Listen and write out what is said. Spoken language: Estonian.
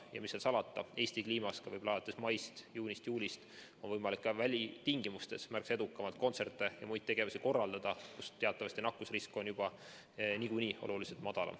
Ja mis seal salata, Eesti kliimas on alates maist, juunist, juulist võimalik ka välitingimustes märksa edukamalt kontserte ja muid tegevusi korraldada, sest teatavasti nakkusrisk on juba niikuinii oluliselt madalam.